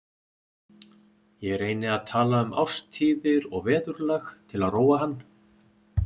Ég reyni að tala um árstíðir og veðurlag til að róa hann.